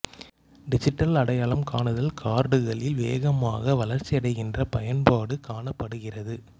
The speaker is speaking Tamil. டிஜிட்டல் அடையாளம் காணுதல் கார்டுகளில் வேகமாக வளர்ச்சியடைகின்ற பயன்பாடு காணப்படுகிறது